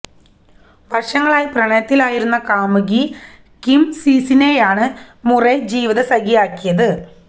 വര്ഷങ്ങളായി പ്രണയത്തിലായിരുന്ന കാമുകി കിം സീസിനെയാണ് മുറെ ജീവിത സഖിയാക്കിയത്